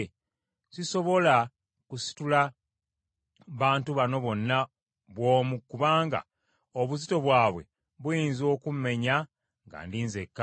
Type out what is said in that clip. Sisobola kusitula bantu bano bonna bw’omu kubanga obuzito bwabwe buyinza okummenya nga ndi nzekka.